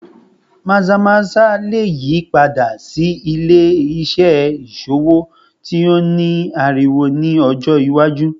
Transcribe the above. Maza-maza le yipada si ile-iṣẹ iṣowo ti o ni ariwo ni ọjọ iwaju